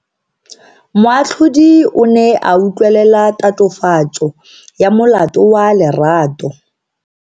Moatlhodi o ne a utlwelela tatofatso ya molato wa Lerato.